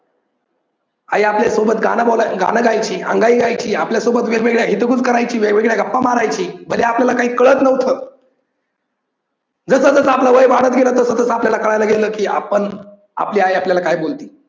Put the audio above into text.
आई आपल्या सोबत गाणं बोलायची, गाणं गायची, अंगाई गायची, आपल्या सोबत वेगवेगळ्या हितगुज करायची, वेगवेगळ्या गप्पा मारायची म्हणजे आपल्याला काही कळत नव्हतं. जस जसं आपलं वय वाढत गेलं तस तस आपल्याला कळायला लागलं की आपण आपली आई आपल्याला काय बोलते.